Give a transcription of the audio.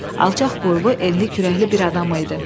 Alçaq boylu, enli kürəkli bir adam idi.